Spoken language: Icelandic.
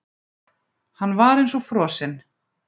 Hann var eins og frosinn.